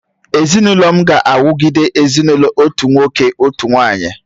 Ezinụlọ m ga-awugide ezinụlọ otu nwoke, otu nwanyị